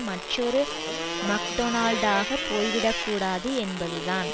மற்றொரு மக்டோனால்டாக போய்விடக்கூடாது என்பதுதான்